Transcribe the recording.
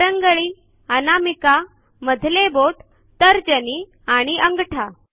करंगळी अनामिका मधले बोट तर्जनी आणि अंगठा